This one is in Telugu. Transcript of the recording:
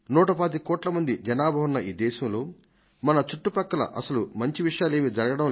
125 కోట్ల మంది జనాభా ఉన్న ఈ దేశంలో మన చుట్టుపక్కల అసలు మంచి విషయమేదీ జరగడమే లేదా